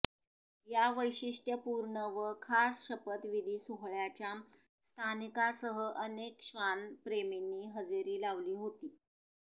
या वैशिष्ट्यपूर्ण व खास शपथविधी सोहळ्याच्या स्थानिकासह अनेक श्वान प्रेमींनी हजेरी लावली होती